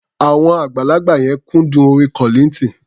Àwọn àgbàlagbà yẹn kúndùn orin Kollignton.